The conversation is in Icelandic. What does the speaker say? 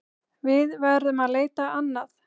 Við verðum að leita annað.